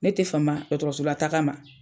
Ne tɛ fama dɔgɔtɔrɔsola taaga ma.